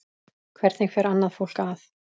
Hvernig fer annað fólk að?